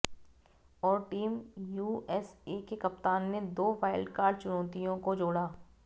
और team USA के कप्तान ने दो वाइल्डकार्ड चुनौतियों को जोड़ा